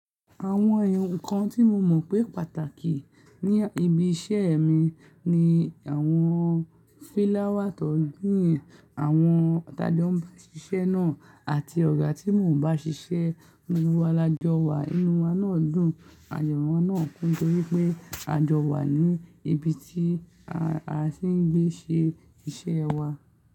Àwọn eyankan tí mo mọ̀ pé pàtàkì ní ibi iṣẹ́ mi ni àwọn fílá wà tó gbin àwọn tájọ́ ń bá ṣiṣẹ́ náà àti ọ̀gá tí mò ń bá ṣiṣẹ́. Inú wa la jọ wà, inú wa náà dùn, àyowa náà kún torí pé a jọ wà ní ibi tí tìń gbé ṣe iṣẹ́ wa.